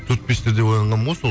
төрт бестерде оянғанмын ғой сол